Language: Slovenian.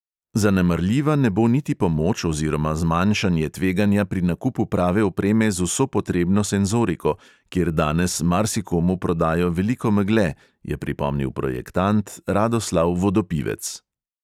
Zanemarljiva ne bo niti pomoč oziroma zmanjšanje tveganja pri nakupu prave opreme z vso potrebno senzoriko, kjer danes marsikomu prodajo veliko megle, je pripomnil projektant radoslav vodopivec.